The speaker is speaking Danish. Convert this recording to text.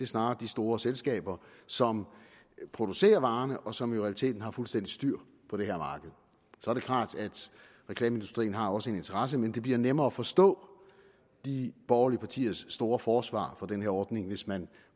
snarere de store selskaber som producerer varerne og som i realiteten har fuldstændig styr på det her marked så er det klart at reklameindustrien også har en interesse men det bliver nemmere at forstå de borgerlige partiers store forsvar for den her ordning hvis man